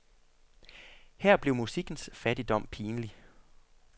Her blev musikkens fattigdom pinlig.